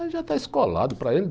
Aí já está escolado, para ele.